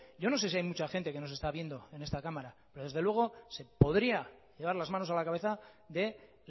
yo no sé si hay mucha gente que nos está viendo en esta cámara pero desde luego se podría llevar las manos a la cabeza de